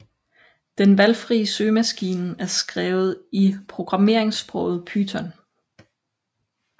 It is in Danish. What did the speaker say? Den valgfrie søgemaskine er skrevet i programmeringssproget Python